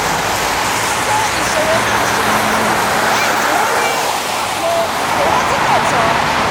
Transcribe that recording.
àpò owó ìṣòwò náà súnrakì lẹ́yìn tí wọ́n rí àpò ìkówó sí tí kò tọ́